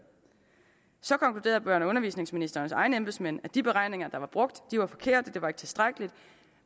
så konkluderede børne og undervisningsministerens egne embedsmænd at de beregninger der blev brugt var forkerte og ikke var tilstrækkelige